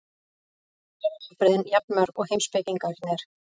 Reyndar eru afbrigðin jafn mörg og heimspekingarnir.